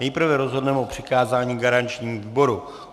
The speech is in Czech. Nejprve rozhodneme o přikázání garančnímu výboru.